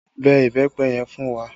Bẹ ìbẹ́pẹ yẹn fún wa!